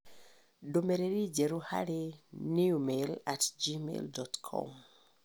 ndũmĩrĩri njerũ harĩ newmail at gmail dot com